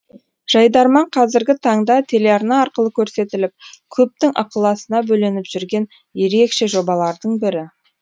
жайдарман қазіргі таңда телеарна арқылы көрсетіліп көптің ықыласына бөленіп жүрген ерекше жобалардың бірі